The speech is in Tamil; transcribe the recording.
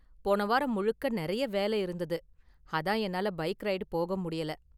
போன வாரம் முழுக்க நிறைய வேலை இருந்தது, அதான் என்னால பைக் ரைடு போக முடியல.